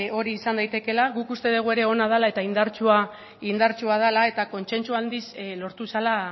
hori izan daitekeela guk uste dugu ere ona dela eta indartsua dela eta kontsentsu handiz lortu zela